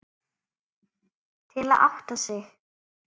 Til að átta sig.